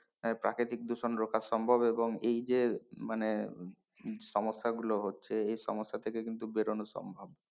প্রাকৃতিক দূষণ রোকা সম্ভব এবং এই যে মানে সমস্যা গুলো হচ্ছে এই সমস্যা থেকে কিন্তু বেরোনো সম্ভব।